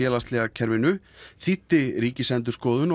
kerfinu þýddi Ríkisendurskoðun